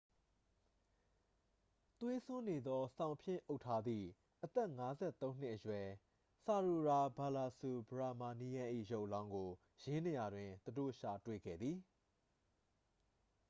သွေးစွန်းနေသော စောင်ဖြင့် အုပ်ထားသည့် အသက် 53 နှစ်အရွယ် ဆာရိုယာ ဘာလာစူဘရာမာနီးယန်း ၏ ရုပ်အလောင်းကို ယင်းနေရာတွင် သူတို့ ရှာတွေ့ခဲ့သည်